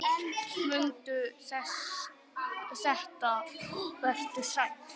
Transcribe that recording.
Mundu þetta og vertu sæll!